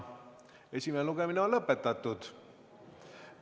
Esimene lugemine on lõpetatud.